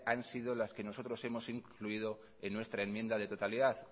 han sido las que nosotros hemos incluido en nuestra enmienda de totalidad